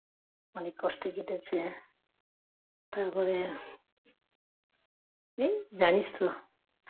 অনেক কষ্ট কেটেছে তারপরে এই জানিস তো